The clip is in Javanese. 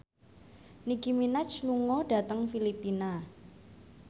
Nicky Minaj lunga dhateng Filipina